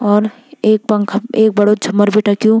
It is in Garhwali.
और एक पंखा एक बड़ु झूमर भी टंगयूं।